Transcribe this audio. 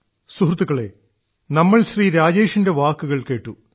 സുഹൃത്തുക്കളേ നമ്മൾ ശ്രീ രാജേഷിന്റെ വാക്കുകൾ കേട്ടു